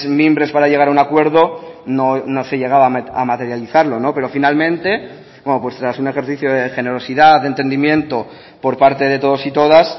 mimbres para llegar a un acuerdo no se llegaba a materializarlo pero finalmente bueno pues tras un ejercicio de generosidad de entendimiento por parte de todos y todas